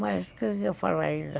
Mas o que eu ia falar ainda?